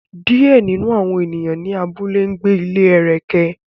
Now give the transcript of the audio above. Diẹ ninu awọn eniyan ni awọn abule n gbe ni ile ẹrẹkẹ